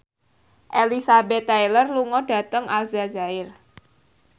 Elizabeth Taylor lunga dhateng Aljazair